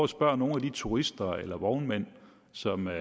spørge nogle af de turister eller vognmænd som er